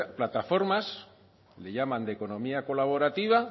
plataformas le llaman de economía colaborativa